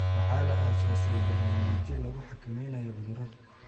Waxaa la aasaasay barnaamijyo lagu xakameynayo cudurrada.